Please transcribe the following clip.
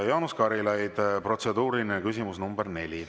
Jaanus Karilaid, protseduuriline küsimus nr 4.